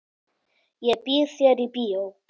Ég býð þér í bíó.